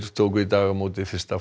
tóku í dag á móti fyrsta